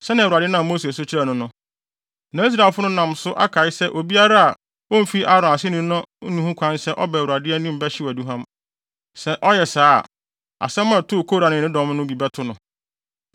sɛnea Awurade nam Mose so kyerɛɛ no no. Na Israelfo no nam so akae se obiara a omfi Aaron ase no nni ho kwan sɛ ɔba Awurade anim bɛhyew aduhuam. Sɛ ɔyɛ saa a, asɛm a ɛtoo Kora ne ne ne dɔm no bi bɛto no.